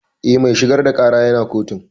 Eh, mai shigar da ƙara ya na kotun